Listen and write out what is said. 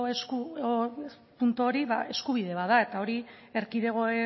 puntu hori eskubide bat da eta hori erkidego